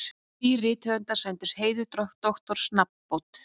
Þrír rithöfundar sæmdir heiðursdoktorsnafnbót